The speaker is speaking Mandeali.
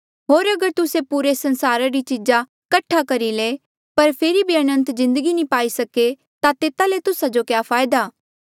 होर अगर तुस्से पूरे संसारा री चीज़ा कठा करी ले पर फेरी भी अनंत जिन्दगी नी पाई सके ता तेता ले तुस्सा जो क्या फायदा